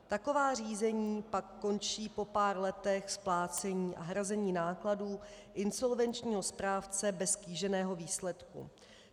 Taková řízení pak končí po pár letech splácení a hrazení nákladů insolvenčního správce bez kýženého výsledku.